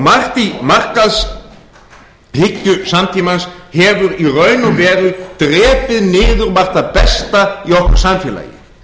margt í markaðshyggju samtímans hefur í raun og veru drepið niður margt það besta í okkar samfélagi